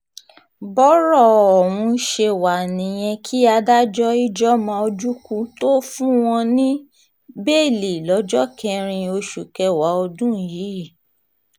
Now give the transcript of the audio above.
bọ́rọ̀ ọ̀hún ṣe wá nìyẹn kí adájọ́ ijeoma ojukwu tóó fún wọn ní bẹ́ẹ́lí lọ́jọ́ kẹrin oṣù kẹwàá ọdún yìí